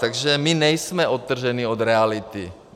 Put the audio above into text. Takže my nejsme odtrženi od reality.